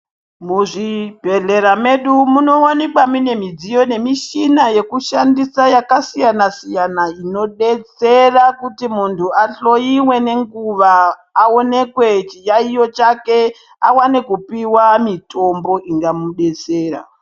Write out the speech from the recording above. Muzvibhehlera medu munowanikwa mune midziyo nemishina yekushandisa yakasiyanasiyana inodetsera kuti muntu ahloyiwe nenguwa aonekwe chiyayiyo chake awane kupiwa mitombo ingamudetsera.